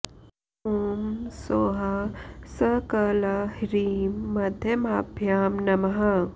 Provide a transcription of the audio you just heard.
ॐ सौः स क ल ह्रीं मध्यमाभ्यां नमः